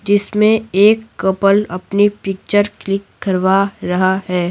जिसमें एक कपल अपनी पिक्चर क्लिक करवा रहा।